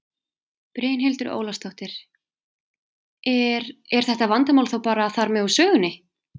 Brynhildur Ólafsdóttir: Er, er þetta vandamál þá bara þar með úr sögunni?